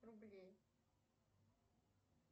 рублей